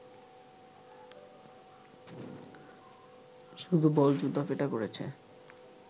শুধু বল, জুতাপেটা করেছে